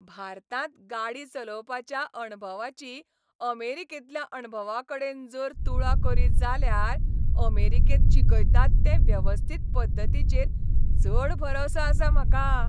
भारतांत गाडी चलोवपाच्या अणभवाची अमेरिकेंतल्या अणभवाकडेन जर तुळा करीत जाल्यार अमेरिकेंत शिकयतात ते वेवस्थीत पद्दतीचेर चड भरवंसो आसा म्हाका.